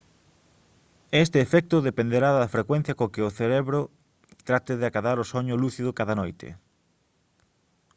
este efecto dependerá da frecuencia coa que o cerebro trate de acadar o soño lúcido cada noite